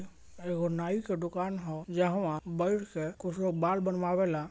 एगो नाई के दुकान हअ जहां बैठ के कुछ लोग बाल बनवावे ला।